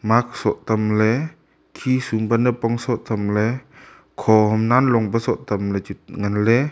mark soh tam ley khisum pe napong soh tam ley khohom nalong pe soh tam ley che ngan ley.